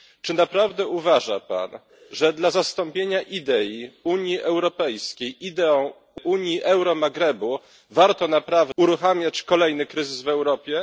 Czy naprawdę uważa pan, że dla zastąpienia idei Unii Europejskiej ideą Unii Euromaghrebu warto uruchamiać kolejny kryzys w Europie?